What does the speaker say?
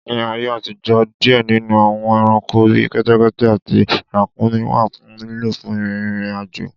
Nì ọjò̩ àtijọ́, diẹ̀ nínù àwọń ẹranko bí kẹ́tẹ́kẹ́tẹ́ àtí ràkuńmí wà fun lílò fún rírin ajo